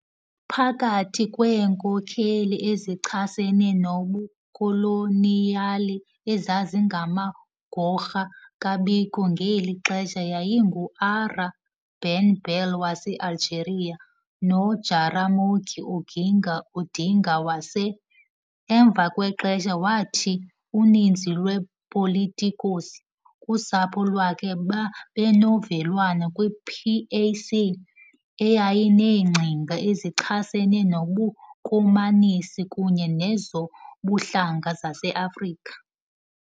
Phakathi kweenkokheli ezichasene nobukoloniyali ezazingamagorha kaBiko ngeli xesha yayinguAhrah Ben Bella wase-Algeria noJaramogi Oginga Odinga wase .. Emva kwexesha wathi uninzi lwe "politicos" kusapho lwakhe babenovelwano kwi-PAC, eyayineengcinga ezichasene nobukomanisi kunye nezobuhlanga zaseAfrika.